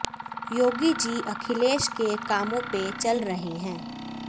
योगी जी अखिलेश के कामो पे चल रहे है